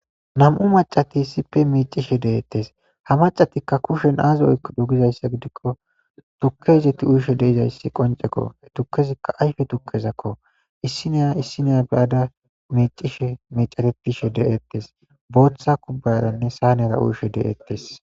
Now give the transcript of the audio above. Nami'u maccati issiope miiccishe de'etes. Ha maccatikka kushen aazi oykkido gizayssa gidikko tukke izet uyishe de'izays qonccekko. Tukkezikka ayfe tukkezakko. Issiniya issiniya be'ada miiccishe miiceretishe de'ettes. Booththa kubbayaranne saanera uyishe de'etes.